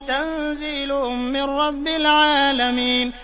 تَنزِيلٌ مِّن رَّبِّ الْعَالَمِينَ